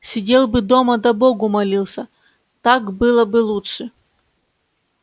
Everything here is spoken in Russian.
сидел бы дома да богу молился так было бы лучше